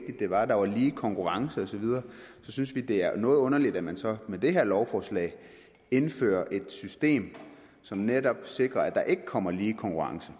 det var der var lige konkurrence osv synes vi det er noget underligt at man så med det her lovforslag indfører et system som netop sikrer at der ikke kommer lige konkurrence